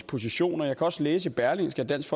position og jeg kan også læse i berlingske at dansk